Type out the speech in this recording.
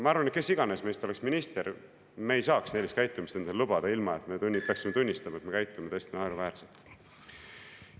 Ma arvan, et kes iganes meist oleks minister, me ei saaks sellist käitumist endale lubada, ilma et me peaksime tunnistama, et me käitume täiesti naeruväärselt.